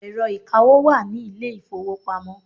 Ẹ̀rọ ìkawó wà ní ilé ìfowópamọ́.